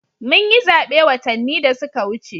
Mun yi zabe watanni da suka wuce